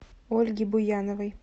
ольги буяновой